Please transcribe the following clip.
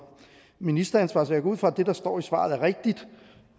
ministeransvar så jeg går ud fra at det der står i svaret er rigtigt